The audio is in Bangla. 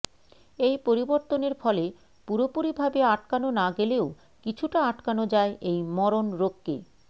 এই পরিবর্তনের ফলে পুরোপুরিভাবে আটকানো না গেলেও কিছুটা আটকানো যায় এই মরণ রোগকে